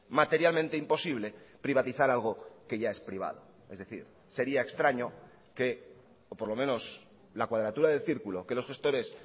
materialmente imposible privatizar algo que ya es privado es decir sería extraño que o por lo menos la cuadratura del círculo que los gestores